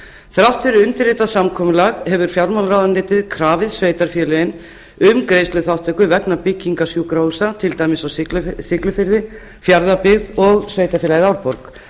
þrátt fyrir undirritað samkomulag hefur fjármálaráðuneytið krafið sveitarfélögin um greiðsluþátttöku vegna byggingar sjúkrahúsa til dæmis á siglufirði fjarðabyggð og sveitarfélaginu árborg